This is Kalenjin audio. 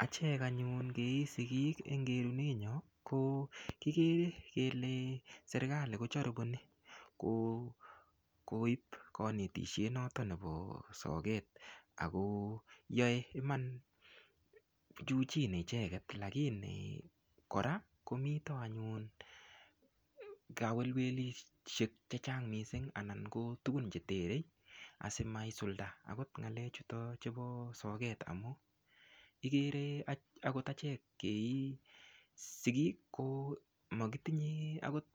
Achek anyun kei sikiik eng kerune nyo ko kikere kele serikali kojaripon koip kanetishet noto nepo socket ako yoe Iman juu chini icheket lakini kora komito anyun kawelwelishek chechang' mising' anan ko tukun cheterei asimaisulda akot ngalek chuto chepo socket amu ikere akot achek kei sikiik makitinye akot